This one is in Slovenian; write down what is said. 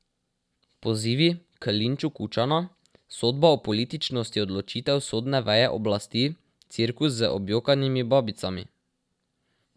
Pozivi k linču Kučana, sodba o političnosti odločitev sodne veje oblasti, cirkus z objokanimi babicami.